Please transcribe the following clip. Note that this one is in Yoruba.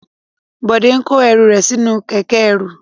Bọ̀dé ń kó ẹru rẹ̀ sí inú kẹ̀kẹ́ ẹrú.